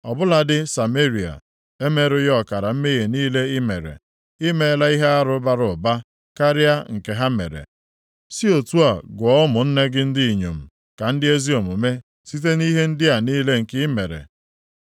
Ọ bụladị Sameria emerughị ọkara mmehie niile i mere. I meela ihe arụ bara ụba karịa nke ha mere, si otu a gụọ ụmụnne gị ndị inyom ka ndị ezi omume site nʼihe ndị a niile nke ị mere.